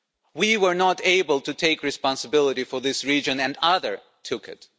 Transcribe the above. We were not able to take responsibility for this region, and others took it.